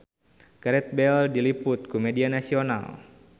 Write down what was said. Gareth Bale diliput ku media nasional